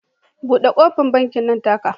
Bude kofar bankin nan take